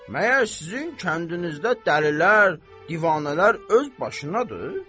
Məyər sizin kəndinizdə dəlilər, divanələr öz başınaadır?